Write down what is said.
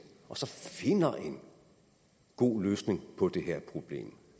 og finder en god løsning på det her problem og